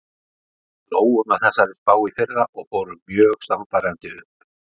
Við hlógum að þessari spá í fyrra og fórum mjög sannfærandi upp.